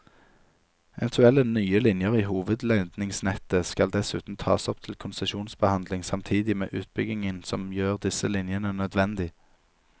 Eventuelle nye linjer i hovedledningsnettet skal dessuten tas opp til konsesjonsbehandling samtidig med utbyggingen som gjør disse linjene nødvendig.